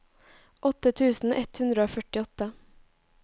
åtte tusen ett hundre og førtiåtte